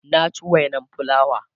na ci wainan fulawa